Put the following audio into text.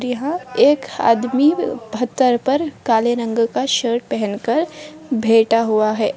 यहाँ एक आदमी पत्थर पर काले रंग का शर्ट पहन कर बैठा हुआ है।